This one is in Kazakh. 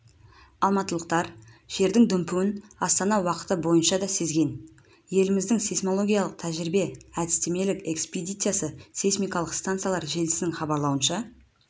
алматылықтар жердің дүмпуін астана уақыты бойынша де сезген еліміздегі сейсмологиялық тәжірибе-әдістемелік экспедициясы сейсмикалық стансалар желісінің хабарлауынша